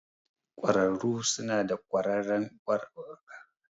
Ƙwararru suna da ƙwarewa a takamaiman yanki na magani.